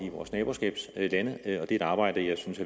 i vores naboskabslande er et arbejde jeg synes